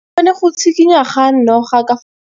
bone go tshikinya ga noga ka